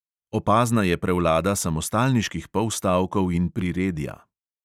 Opazna je prevlada samostalniških polstavkov in priredja.